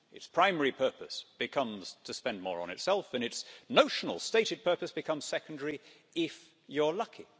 Its primary purpose becomes to spend more on itself and its notional stated purpose becomes secondary if you're lucky.